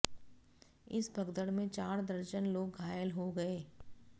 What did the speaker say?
इस भगदड़ में चार दर्जन लोग घायल हो गए